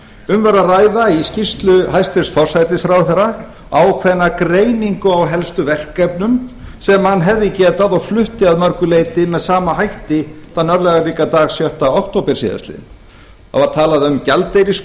um er að ræða í skýrslu hæstvirts forsætisráðherra ákveðna greiningu á helstu verkefnum sem hann hefði getað og flutti að mörgu leyti með sama hætti þann örlagaríka dag sjötta október síðastliðnum það var talað um